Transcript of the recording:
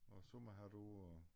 Og sommerhat på og